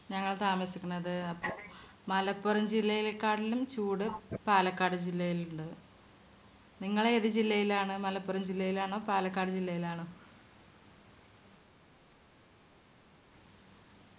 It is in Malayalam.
ഞങ്ങൾ താമസിക്കുന്നത്. മലപ്പുറം ജില്ലയിലേക്കാട്ടിലും ചൂട് പാലക്കാട് ജില്ലയിലിണ്ട്. നിങ്ങൾ ഏത് ജില്ലയിൽ ആണ് മലപ്പുറം ജില്ലയിലാണോ പാലക്കാട് ജില്ലയിലാണോ?